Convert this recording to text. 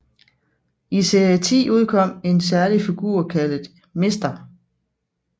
I serie 10 udkom en særlig figur kaldet Mr